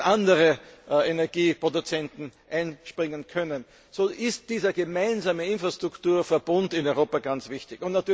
andere Energieproduzenten einspringen können. So ist dieser gemeinsame Infrastrukturverbund in Europa ganz wichtig.